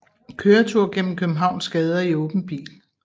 Køretur gennem Københavns gader i åben bil